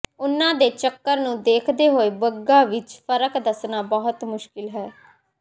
ਉਨ੍ਹਾਂ ਦੇ ਚੱਕਰ ਨੂੰ ਦੇਖਦੇ ਹੋਏ ਬੱਗਾਂ ਵਿੱਚ ਫਰਕ ਦੱਸਣਾ ਬਹੁਤ ਮੁਸ਼ਕਿਲ ਹੈ